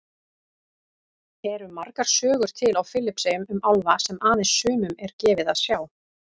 Eru margar sögur til á Filippseyjum um álfa sem aðeins sumum er gefið að sjá?